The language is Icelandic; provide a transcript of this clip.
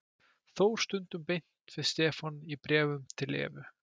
Þór stundum beint við Stefán í bréfum til Evu.